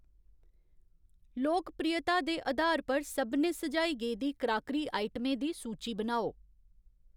लोकप्रियता दे अधार पर सभनें सुझाई गेदी क्राकरी आइटमें दी सूची बनाओ